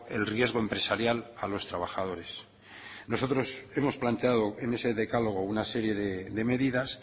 el riesgo empresarial a los trabajadores nosotros hemos planteado en ese decálogo una serie de medidas